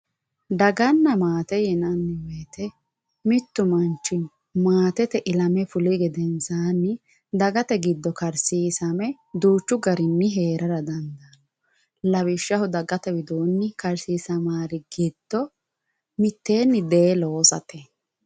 Daganna maate yinanni woyte mitu manchi maatete ilame fulihu gedensanni dagate giddooni karsiisame duuchu garini heerara dandaano lawishshaho dagate widooni karsiisamari giddo mitteenni de"ee loossate.